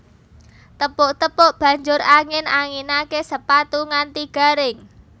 Tepuk tepuk banjur angin anginake sepatu nganti garing